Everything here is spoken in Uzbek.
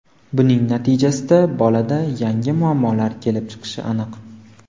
Buning natijasida bolada yangi muammolar kelib chiqishi aniq.